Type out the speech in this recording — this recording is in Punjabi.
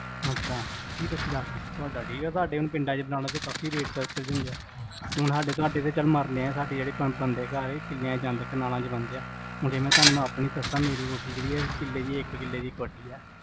ਅੱਛਾ, ਵੀਹ ਪੱਚੀ ਲੱਖ, ਉਹ ਤੁਹਾਡੀ! ਤੁਹਾਡੇ ਹੁਣ ਪਿੰਡਾਂ ਚ ਬਣਾਉਣਾ ਤਾਂ ਕਾਫੀ ਰੇਟ ਹੁਣ ਤੁਹਾਡੇ ਕੋਲ ਚੱਲ ਮਰਲੇ ਆ ਸਾਡੇ ਜਿਹੜੇ ਪਿੰਡ ਬਣ ਦਿਆ ਘਰ ਉਹ ਕਿਲ੍ਹੇ ਆ ਕਨਾਲਾਂ ਚ ਬਣ ਦੇ ਆ ਹੁਣ ਜੇ ਮੈਂ ਤੁਹਾਨੂੰ ਆਪਣੀ ਦਸਾਂ ਮੇਰੀ ਕੋਠੀ ਜਿਹੜੀ ਆ ਕਿੱਲੇ ਚ ਇੱਕ ਕਿਲ੍ਹੇ ਦੀ ਕੋਠੀ ਆ